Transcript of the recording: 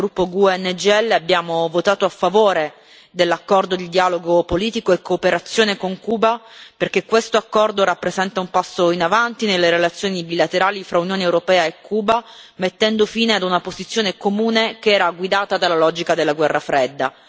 Come gruppo GUE NGL abbiamo votato a favore dell'accordo di dialogo politico e di cooperazione UE Cuba perché questo accordo rappresenta un passo in avanti nelle relazioni bilaterali fra Unione europea e Cuba, mettendo fine ad una posizione comune che era guidata dalla logica della Guerra fredda.